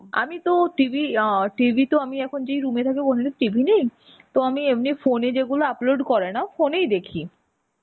আমিতো TV ইয়া TV তো আমি এখন যে room এ থাকি ওখানে TV নেই. তো আমি এমনই phone এ যেগুলো upload করে না phone এই দেখি.